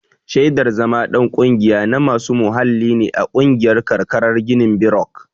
Shaidar zama ɗan ƙungiya na masu muhalli ne a ƙungiyar karkarar girinbirok.